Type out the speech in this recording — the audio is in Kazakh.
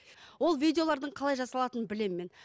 ол видеолардың қалай жасалатынын білемін мен